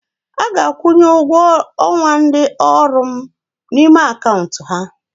A ga-akwụnye ụgwọ ọnwa ndị ọrụ m n'ime akaụntụ ha.